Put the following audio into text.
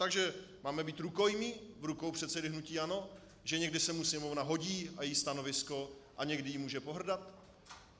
Takže máme být rukojmí v rukou předsedy hnutí ANO, že někdy se mu Sněmovna hodí, a její stanovisko, a někdy jí může pohrdat!